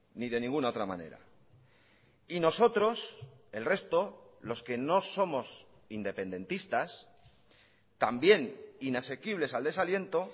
ni de ninguna otra manera y nosotros el resto los que no somos independentistas también inasequibles al desaliento